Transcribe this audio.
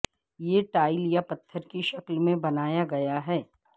یہ ٹائل یا پتھر کی شکل میں بنایا گیا ہے